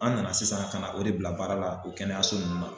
An nana sisan kana na o de bila baara la o kɛnɛyaso nunnu na.